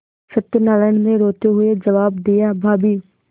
सत्यनाराण ने रोते हुए जवाब दियाभाभी